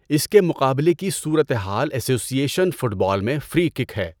اس کے مقابلے کی صورتحال ایسوسی ایشن فٹ بال میں فری کِک ہے۔